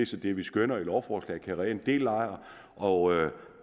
så det vi skønner i lovforslaget kan redde en del lejere og